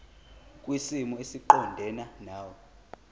kwisimo esiqondena nawe